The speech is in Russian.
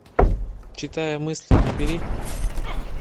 читая мысли набери